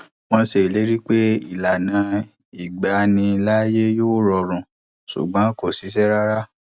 wọn ṣe ìlérí pé ìlànà ìgbaniláàyè yóò rọrùn ṣùgbọn kò ṣiṣẹ rárá